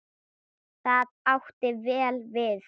Það átti vel við.